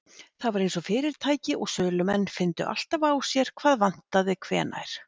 Það var eins og fyrirtæki og sölumenn fyndu alltaf á sér hvað vantaði hvenær.